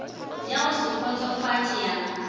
ya go se kgotsofatše ya